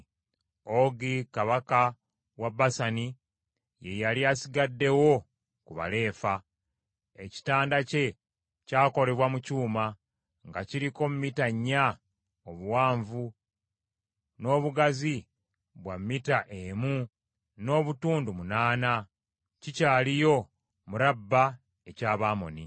Ogi kabaka wa Basani ye yali asigaddewo ku Balefa. Ekitanda kye kyakolebwa mu kyuma, nga kiriko mita nnya obuwanvu, n’obugazi bwa mita emu n’obutundu munaana. Kikyaliyo mu Raba eky’Abamoni.